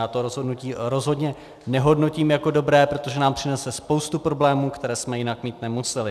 Já to rozhodnutí rozhodně nehodnotím jako dobré, protože nám přinese spoustu problémů, které jsme jinak mít nemuseli.